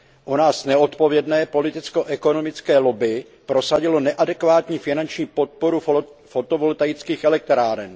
U nás neodpovědné politicko ekonomické lobby prosadilo neadekvátní finanční podporu fotovoltaických elektráren.